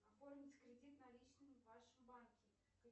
оформить кредит наличными в вашем банке